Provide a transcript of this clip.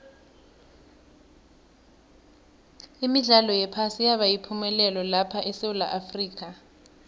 imidlalo yephasi yaba yipumelelo lapha esewula afrika